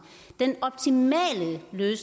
nu